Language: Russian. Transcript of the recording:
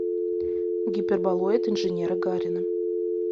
гиперболоид инженера гарина